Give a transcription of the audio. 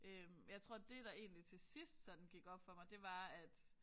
Øh jeg tror det der egentlig til sidst sådan gik op for mig det var at